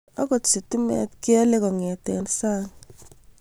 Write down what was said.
akot sitimet keole kongete sang